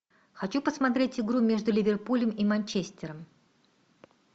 хочу посмотреть игру между ливерпулем и манчестером